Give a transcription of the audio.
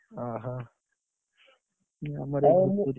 ଓହୋ,